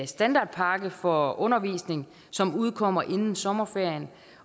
standardpakke for undervisning som udkommer inden sommerferien